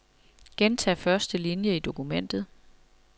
Gentag første linie i dokumentet.